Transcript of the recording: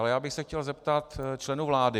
Ale já bych se chtěl zeptat členů vlády.